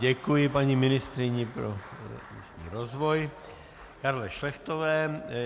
Děkuji paní ministryni pro místní rozvoj Karle Šlechtové.